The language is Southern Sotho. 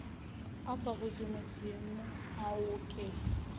a ka hodimodimo ao ke